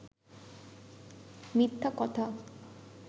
মিথ্যা কথা